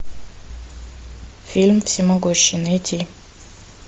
фильм всемогущий найти